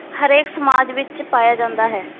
ਹਰੇਕ ਸਮਾਜ ਵਿਚ ਪਾਇਆ ਜਾਂਦਾ ਹੈ।